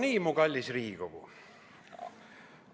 No nii, mu kallis Riigikogu!